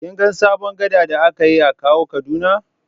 Kin ga sabon gada da aka yi a Kawo Kaduna?